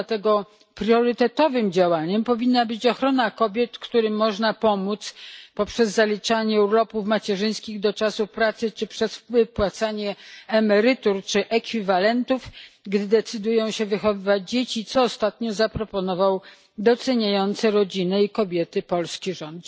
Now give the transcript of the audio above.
Dlatego priorytetowym działaniem powinna być ochrona kobiet, którym można pomóc poprzez zaliczanie urlopów macierzyńskich do czasu pracy czy przez wypłacanie emerytur lub ekwiwalentów, gdy decydują się wychowywać dzieci, co ostatnio zaproponował doceniający rodzinę i kobiety polski rząd.